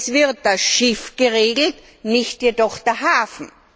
Es wird das Schiff geregelt, nicht jedoch der Hafen.